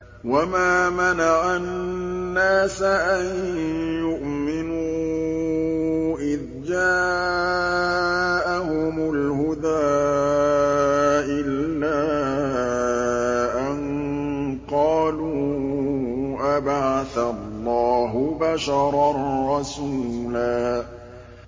وَمَا مَنَعَ النَّاسَ أَن يُؤْمِنُوا إِذْ جَاءَهُمُ الْهُدَىٰ إِلَّا أَن قَالُوا أَبَعَثَ اللَّهُ بَشَرًا رَّسُولًا